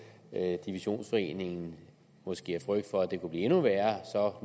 divisionsforeningen måske af frygt for at det kunne blive endnu værre så